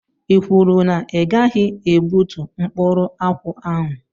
I kwuru na i gaghị egbútú mkpụrụ akwụ ahụ?